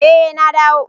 Eh na dawo.